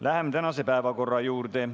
Läheme tänase päevakorra juurde.